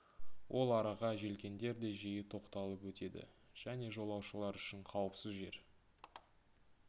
ол араға желкендер де жиі тоқталып өтеді және жолаушылар үшін қауіпсіз жер